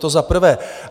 To za prvé.